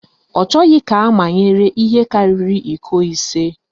Ọ chọghị ka amanyere ihe karịrị iko ise.